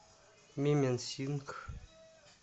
мименсингх